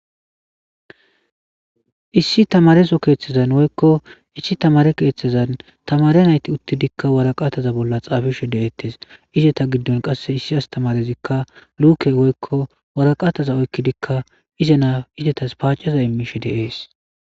Issi tamareso keeththezan woykko issi tamare keeththezan tamare nayti uttidikka waraqataza bolla xaabishe deeettes izeta giddon qasse issi astamarezikka luke woykko waraqataza oykkidikka ize naa izetas paacaza immishe deees